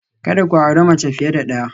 Kada ku auri mace fiye da ɗaya